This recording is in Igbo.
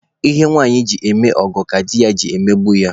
Ihe nwanyị ji eme ọgọ ka di ji emegbu ya